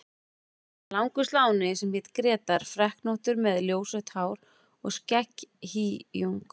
Það var langur sláni sem hét Grétar, freknóttur með ljósrautt hár og skegghýjung.